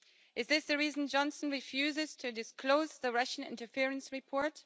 Is this the reason Johnson refuses to disclose the Russian interference report?